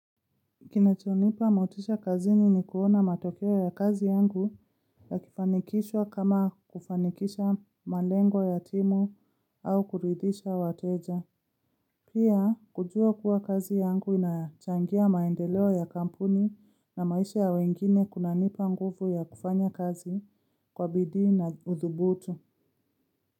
Kinachonipa motisha kazini ni kuona matokeo ya kazi yangu yakifanikishwa kama kufanikisha malengo ya timu au kuridhisha wateja. Pia, kujua kuwa kazi yangu inachangia maendeleo ya kampuni na maisha ya wengine kunanipa nguvu ya kufanya kazi kwa bidii na udhubutu.